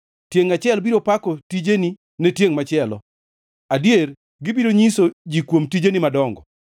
Tiengʼ achiel biro pako tijeni ne tiengʼ machielo; adier, gibiro nyiso ji kuom tijeni madongo.